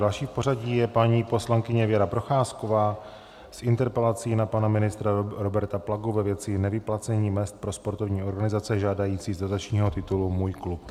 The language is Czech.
Další v pořadí je paní poslankyně Věra Procházková s interpelací na pana ministra Roberta Plagu ve věci nevyplacení mezd pro sportovní organizace žádající z dotačního titulu Můj klub.